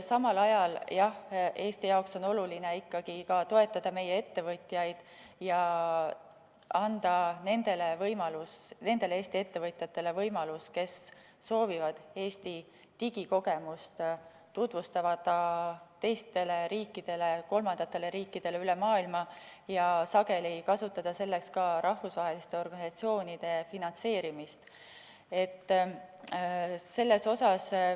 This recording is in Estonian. Samal ajal on Eestile oluline ikkagi toetada meie ettevõtjaid ning anda võimalus nendele Eesti ettevõtjatele, kes soovivad Eesti digikogemust tutvustada kolmandatele riikidele üle maailma ja sageli kasutada selleks ka rahvusvaheliste organisatsioonide finantseerimist.